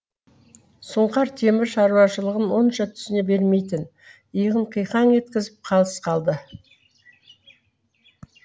сұңқар темір шаруашылығын онша түсіне бермейтін иығын қиқаң еткізіп қалыс қалды